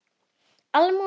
Alma og Pétur.